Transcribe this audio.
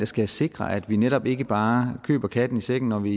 skal sikre at vi netop ikke bare køber katten i sækken når vi